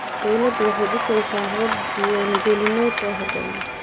Dawladdu waxay dhisaysaa habab diiwaan-gelineed oo habboon.